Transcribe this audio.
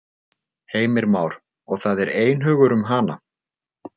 Heimir Már: Og það er einhugur um hana?